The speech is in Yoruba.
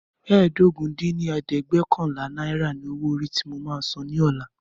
ẹ́ẹdógún dín ní ẹ̀ẹ́dẹ́gbẹ́ọ̀kànlá naira ni owó orí tí mo máa san ní ọ̀la